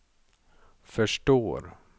förstår